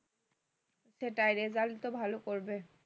সেটাই result তো ভালো করবে